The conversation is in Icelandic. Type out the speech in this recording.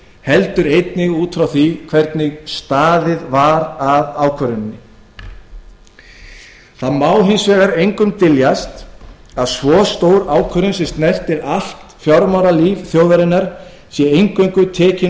heldur einnig út frá því hvernig staðið var að ákvörðuninni það má hins vegar engum dyljast að svo stór ákvörðun sem snertir allt fjármálalíf þjóðarinnar er eingöngu tekin